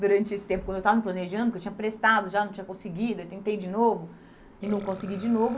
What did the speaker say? durante esse tempo, quando eu estava me planejando, que eu tinha prestado, já não tinha conseguido, aí tentei de novo e não consegui de novo.